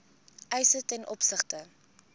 eise ten opsigte